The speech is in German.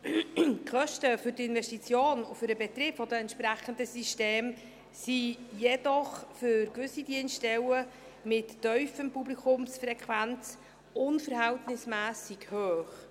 Die Kosten für die Investition und den Betrieb der entsprechenden Systeme sind jedoch für gewisse Dienststellen mit tiefer Publikumsfrequenz unverhältnismässig hoch.